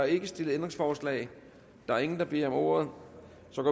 ikke stillet ændringsforslag der er ingen der beder om ordet så går